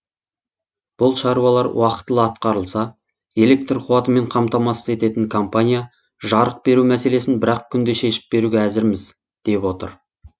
бұл шаруалар уақытылы атқарылса электр қуатымен қамтамасыз ететін компания жарық беру мәселесін бір ақ күнде шешіп беруге әзірміз деп отыр